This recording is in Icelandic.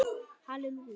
Það kom í minn hlut.